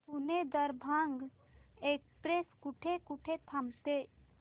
Pune Darbhanga express कुठे कुठे थांबते